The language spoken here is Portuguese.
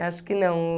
Eu acho que não.